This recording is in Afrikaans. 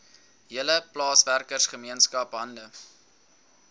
hele plaaswerkergemeenskap hande